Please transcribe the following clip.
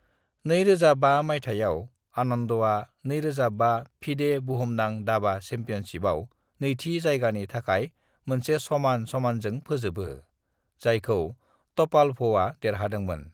"2005 माइथायाव, आनन्दआ 2005 फिडे बुहुमनां दाबा चेपियनशिपयाव नैथि जायगानि थाखाय मोनसे समान-समानजों फोजोबो, जायखौ टपालभआ देरहादोंमोन।"